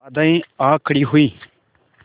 बाधाऍं आ खड़ी हुई